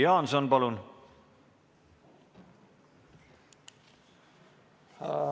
Jüri Jaanson, palun!